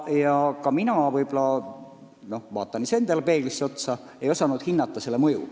Ka mina – ma vaatan iseendale samuti peeglis otsa – ei osanud hinnata selle mõju.